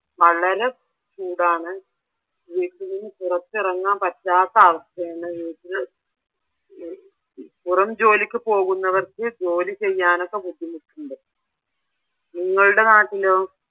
വളരെ ചൂടാണ്. വീട്ടിലിന്നു പുറത്തിറങ്ങാൻ പറ്റാത്ത അവസ്ഥയാണ്. പുറം ജോലിക്കു പോകുന്നവർക്ക് ജോലി ചെയ്യാനൊക്കെ ബുദ്ധിമുട്ടുണ്ട്. നിങ്ങളുടെ നാട്ടിലെ?